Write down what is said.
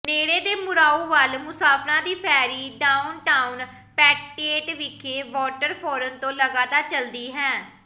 ਨੇੜੇ ਦੇ ਮੂਰਾਓ ਵੱਲ ਮੁਸਾਫਰਾਂ ਦੀ ਫੈਰੀ ਡਾਊਨਟਾਊਨ ਪੈਟੇਟੇਟ ਵਿਖੇ ਵਾਟਰਫੋਰਨ ਤੋਂ ਲਗਾਤਾਰ ਚੱਲਦੀ ਹੈ